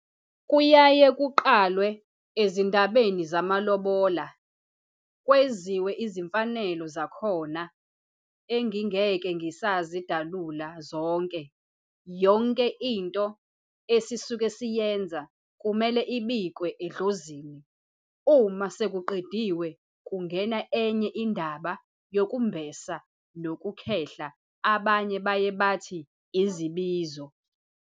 Kuyaye kuqalwe ezindabeni zama lobola kweziwe izimfanelo zakhona engingeke ngisazi dalula zonke. Yonke into esisuke siyenza kumele ibikwe edlozini, uma sekuqediwe kungena enye indaba yokumbesa noku khehla abanye baye bathi izibizo.